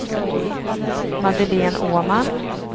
Madeleine Åman